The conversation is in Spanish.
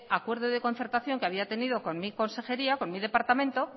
acuerdo de concertación que había tenido con mi consejería con mi departamento